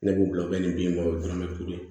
Ne b'o bila u bɛ nin bin bɔlɛn kurun ye